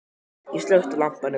Ég slökkti á lampanum.